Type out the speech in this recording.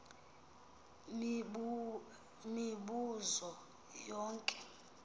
mibu zo yonke